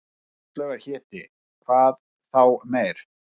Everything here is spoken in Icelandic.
Áslaugar héti, hvað þá meir.